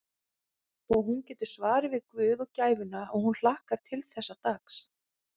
Og hún getur svarið við guð og gæfuna að hún hlakkar til þessa dags.